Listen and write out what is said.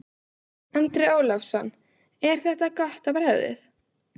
Andri Ólafsson: Er þetta gott á bragðið?